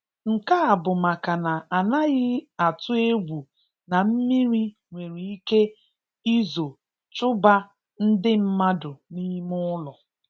Nke a bụ maka na anaghị atụ egwu na mmiri nwere ike izo chụbaa ndị mmadụ n'ime ụlo.